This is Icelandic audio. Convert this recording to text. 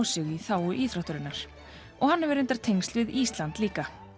sig í þágu íþróttarinnar og hann hefur reyndar tengsl við Ísland líka